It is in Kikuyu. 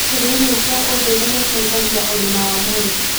Kũrĩa irio cia ũndũĩre gũteĩthagĩa ũgima wa mwĩrĩ